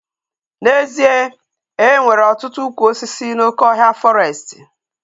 N'ezie, enwere ọtụtụ ụkwụ osisi n'oké ọhịa fọrestị